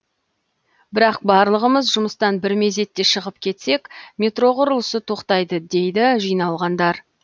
бірақ барлығымыз жұмыстан бір мезетте шығып кетсек метро құрылысы тоқтайды дейді жиналғандар